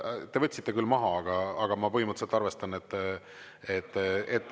Te võtsite küll maha, aga ma põhimõtteliselt arvestan, et …